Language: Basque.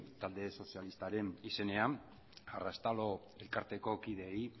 talde sozialistaren izenean arraztalo elkarteko kideei